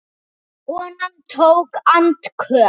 Konan tók andköf.